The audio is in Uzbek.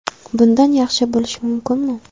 Bundan yaxshi bo‘lishi mumkinmi?